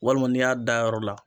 Walima n'i y'a da yɔrɔ la